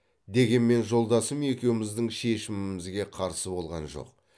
дегенмен жолдасым екеуміздің шешімімізге қарсы болған жоқ